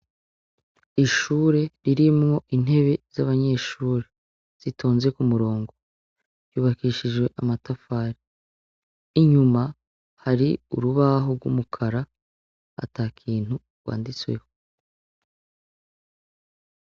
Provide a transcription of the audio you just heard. Ishure ririmwo intebe z'abanyeshure zitonze ku murongo yubakishijwe amatafari inyuma hari urubaho rw'umukara ata kintu wanditsweho.